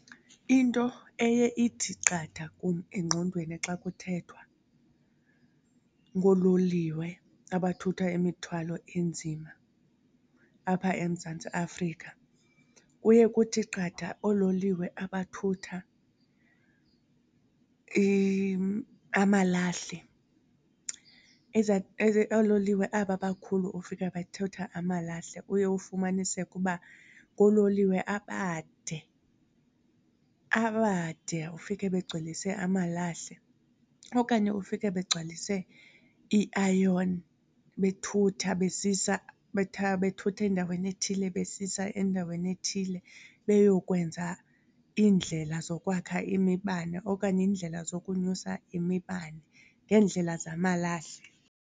Into eye ithi qatha kum engqondweni xa kuthethwa ngoololiwe abathutha imithwalo enzima apha eMzantsi Afrika kuye kuthi qatha oololiwe abathutha amalahle. Oololiwe aba bakhulu ufika bethutha amalahle uye ufumaniseke uba ngoololiwe abade, abade ufike begcwelise amalahle okanye ufike begcwalise i-iron bethutha besisa, bethutha endaweni ethile besisa endaweni ethile beyokwenza iindlela zokwakha imibane okanye iindlela zokunyusa imibane ngeendlela zamalahle.